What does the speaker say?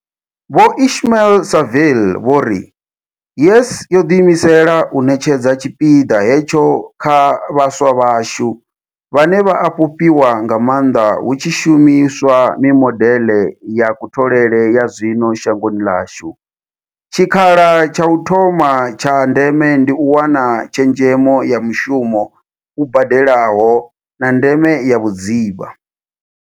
Vho Ismail-Saville vho ri, YES yo ḓiimisela u ṋetshedza tshipiḓa hetsho kha vhaswa vhashu, vhane vha a fhufhiwa nga maanḓa hu tshi shumi swa mimodeḽe ya kutholele ya zwino shangoni ḽashu, tshikhala tsha u thoma tsha ndeme ndi u wana tshezhemo ya mushumo u badelaho, na ndeme ya vhudzivha.